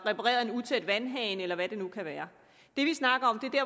repareret en utæt vandhane eller hvad det nu kan være det vi snakker